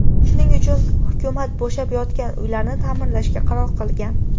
Shuning uchun hukumat bo‘shab yotgan uylarni ta’mirlashga qaror qilgan.